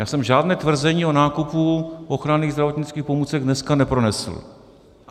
Já jsem žádné tvrzení o nákupu ochranných zdravotnických pomůcek dneska nepronesl.